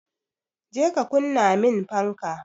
Je ka kunna min fanka!